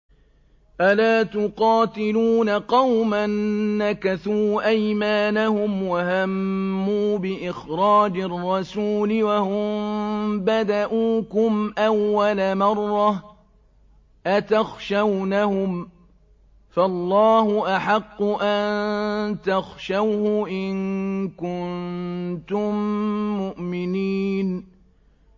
أَلَا تُقَاتِلُونَ قَوْمًا نَّكَثُوا أَيْمَانَهُمْ وَهَمُّوا بِإِخْرَاجِ الرَّسُولِ وَهُم بَدَءُوكُمْ أَوَّلَ مَرَّةٍ ۚ أَتَخْشَوْنَهُمْ ۚ فَاللَّهُ أَحَقُّ أَن تَخْشَوْهُ إِن كُنتُم مُّؤْمِنِينَ